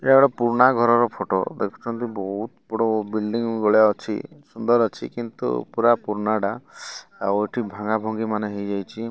ଏହା ପୁରୁଣା ଘରର ଫଟୋ ଦେଖୁଛନ୍ତି ବହୁତ ବଡ ଵିଲ୍ଡିଂ ଭଳିଆ ଅଛି ସୁନ୍ଦର ଅଛି କିନ୍ତୁ ପୁରା ପୁରୁନାଟା ଆଉ ଏଠି ଭାଙ୍ଗାଭାଙ୍ଗିମାନେ ହେଇଯାଇଚି।